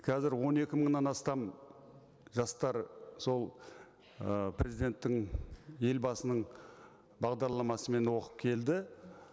қазір он екі мыңнан астам жастар сол ы президенттің елбасының бағдарламасымен оқып келді